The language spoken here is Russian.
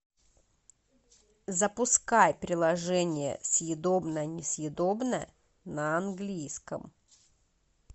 запускай приложение съедобное несъедобное на английском